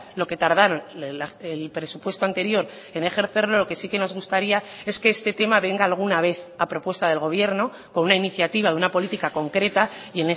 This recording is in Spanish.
lo que tardaron el presupuesto anterior en ejercerlo lo que sí que nos gustaría es que este tema venga alguna vez a propuesta del gobierno con una iniciativa de una política concreta y